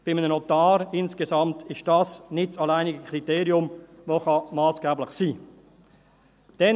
Bei einem Notar ist das insgesamt nicht das alleinige Kriterium, das massgebend sein kann.